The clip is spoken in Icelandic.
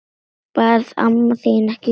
Varð amma þín ekki glöð?